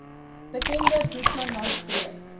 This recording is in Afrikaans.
bekende boesmanland streek